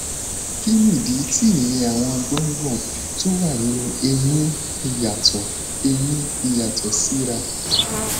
kí nìdí tí iye àwọn gbòǹgbò tó wà nínú eyín fi yàtò eyín fi yàtò síra